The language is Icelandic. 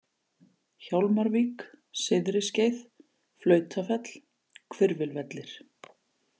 Hjálmarvík, Syðriskeið, Flautafell, Hvirfilvellir